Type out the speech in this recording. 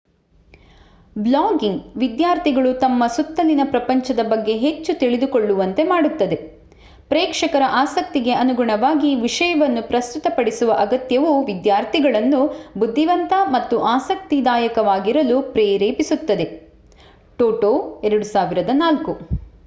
Blogging ವಿದ್ಯಾರ್ಥಿಗಳು ತಮ್ಮ ಸುತ್ತಲಿನ ಪ್ರಪಂಚದ ಬಗ್ಗೆ ಹೆಚ್ಚು ತಿಳಿದುಕೊಳ್ಳುವಂತೆ ಮಾಡುತ್ತದೆ. ಪ್ರೇಕ್ಷಕರ ಆಸಕ್ತಿಗೆ ಅನುಗುಣವಾಗಿ ವಿಷಯವನ್ನು ಪ್ರಸ್ತುತಪಡಿಸುವ ಅಗತ್ಯವು ವಿದ್ಯಾರ್ಥಿಗಳನ್ನು ಬುದ್ಧಿವಂತ ಮತ್ತು ಆಸಕ್ತಿದಾಯಕವಾಗಿರಲು ಪ್ರೇರೇಪಿಸುತ್ತದೆ ಟೊಟೊ 2004